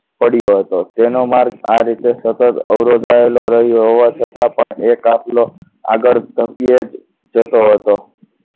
પડ્યો હતો તેનો માર્ગ આ રીતે સતત અવરોધાયેલો હોવા છતાં પણ એ કાફલો આગળ વધે જતો હતો